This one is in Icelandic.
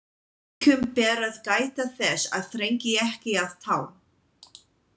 Einkum ber að gæta þess að þrengi ekki að tám.